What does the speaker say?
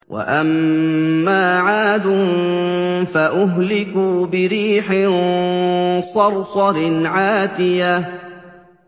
وَأَمَّا عَادٌ فَأُهْلِكُوا بِرِيحٍ صَرْصَرٍ عَاتِيَةٍ